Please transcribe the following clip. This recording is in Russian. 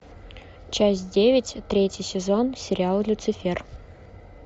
часть девять третий сезон сериал люцифер